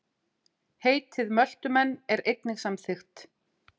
Heitið Möltumenn er einnig samþykkt.